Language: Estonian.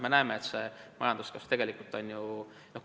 Me näeme, et see majanduskasv on tegelikult aeglustuv.